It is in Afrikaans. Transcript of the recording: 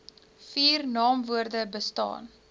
vier naamwoorde bestaan